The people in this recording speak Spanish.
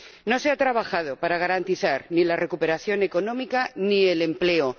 No se ha trabajado para garantizar ni la recuperación económica ni el empleo.